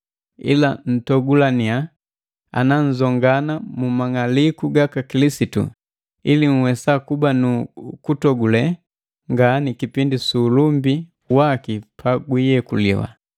Ila ntogulaninya ana nnzongana mu mang'aliku gaka Kilisitu ili nhwesa kuba nu kutogule ngani kipindi su ulumbii waki pagwiyekuliwa.